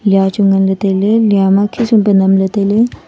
lia Chu nganley tailey lia ma khisum pia namle tailey.